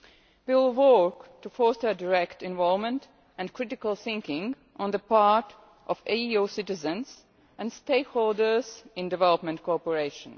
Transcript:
We will work to foster direct involvement and critical thinking on the part of EU citizens and stakeholders in development cooperation.